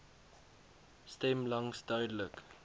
stem langs duidelik